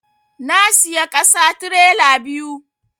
Na siya ƙasa tirela biyu